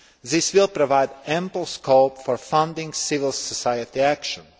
This will provide ample scope for funding civil society actions.